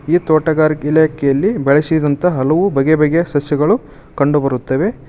ಈ ತೋಟಗಾರಿಕೆ ಇಲಾಖೆಯಲ್ಲಿ ಬೆಳೆಸಿದಂತ ಹಲವು ಬಗೆ ಬಗೆ ಸಸ್ಯಗಳು ಕಂಡು ಬರುತ್ತವೆ.